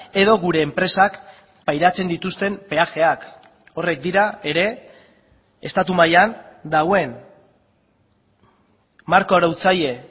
edo gure enpresak pairatzen dituzten peajeak horrek dira ere estatu mailan dagoen marko arautzaile